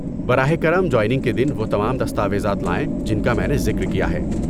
براہ کرم جوائننگ کے دن وہ تمام دستاویزات لائیں جن کا میں نے ذکر کیا ہے۔